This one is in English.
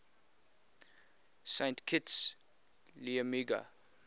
saint kitts liamuiga